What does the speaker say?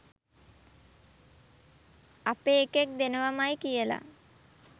අපෙ එකෙක් දෙනවමයි කියලා.